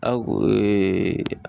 A ko